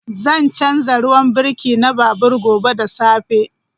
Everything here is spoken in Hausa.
Zan canza ruwan birki na babur gobe da safe.